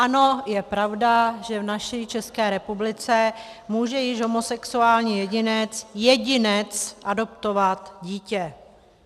Ano, je pravda, že v naší České republice může již homosexuální jedinec - jedinec - adoptovat dítě.